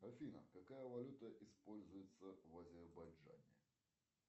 афина какая валюта используется в азербайджане